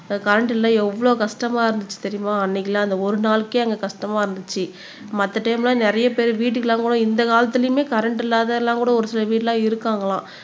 current இல்லை எவ்வளவு கஷ்டமா இருந்துச்சு தெரியுமா அன்னைக்கெல்லாம் அந்த ஒரு நாளைக்கே அங்க கஷ்டமா இருந்துச்சு மத்த டைம்ல நிறைய பேர் வீட்டுக்கெல்லாம் கூட இந்த காலத்துலயுமே கரண்ட் இல்லாததெல்லாம் கூட ஒரு சில வீடெல்லாம் இருக்காங்களாம்